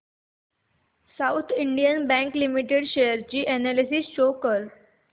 south Indian Bank Limited share analysis show कर